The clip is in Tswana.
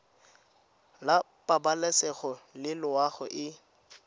la pabalesego le loago e